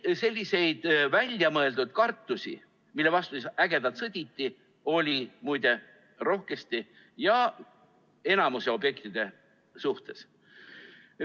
Selliseid väljamõeldud kartusi, mille vastu ägedalt sõditi, oli muide rohkesti ja enamiku objektide suhtes.